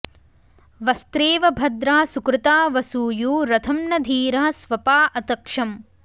वस्त्रेव भद्रा सुकृता वसूयू रथं न धीरः स्वपा अतक्षम्